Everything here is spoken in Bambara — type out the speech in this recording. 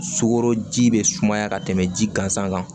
Sukoroji bɛ sumaya ka tɛmɛ ji gansan kan